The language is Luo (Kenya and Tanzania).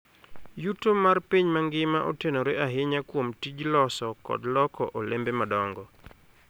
Yuto mar piny mangima otenore ahinya kuom tij loso kod loko olembe madongo.